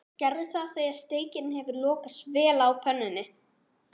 Gerðu það þegar steikin hefur lokast vel á pönnunni.